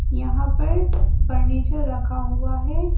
यहां पर फर्नीचर रखा हुआ है।